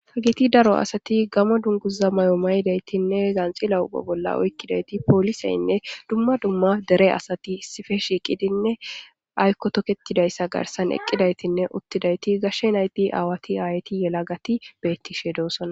ta giti daro asati gama dunguza may7o maydaytinne zanxila uba bolla oykkidayti pooliseynne dumma dumma dere asati isife shiiqidinne aykko toketidayssa garsan eqqidaytinne uttidayti gashshe naydi aawati aayti yela gati bettishe doosonna